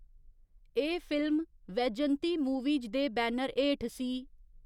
एह्‌‌ film Vyjayanthi movies दे banner हेठ सी .